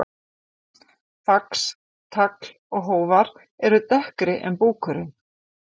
Fax, tagl og hófar eru dekkri en búkurinn.